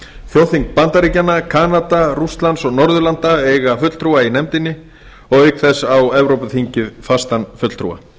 þjóðþing bandaríkjanna kanada rússlands og norðurlanda eiga fulltrúa í nefndinni og auk þess á evrópuþingið fastan fulltrúa